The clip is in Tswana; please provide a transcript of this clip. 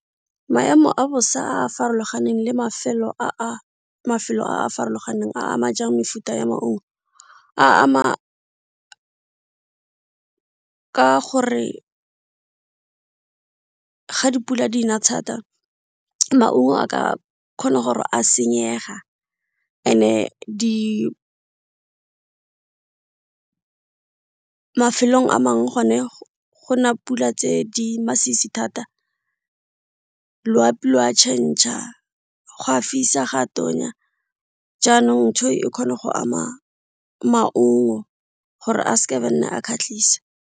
Maemo a bosa a a farologaneng le mafelo a a farologaneng a ama jang mefuta ya maungo. A ama ka gore ka ga dipula di na thata maungo a ka kgona gore a senyega mafelong a mangwe gone go na pula tse di masisi thata loapi lo a go a fisa go a tonya jaanong ntho e kgone go ama maungo gore a nna a kgatlhise.